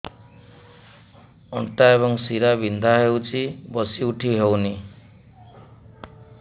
ଅଣ୍ଟା ଏବଂ ଶୀରା ବିନ୍ଧା ହେଉଛି ବସି ଉଠି ହଉନି